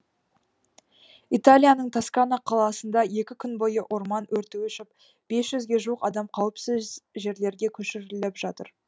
италияның тоскана қаласында екі күн бойы орман өрті өршіп бес жүзге жуық адам қауіпсіз жерлерге көшіріліп жатыр